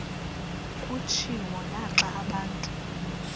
kutshiwo naxa abantu